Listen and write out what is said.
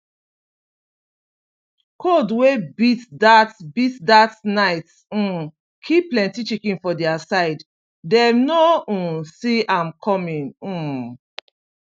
cold wey beat that beat that night um kill plenty chicken for their side dem no um see am coming um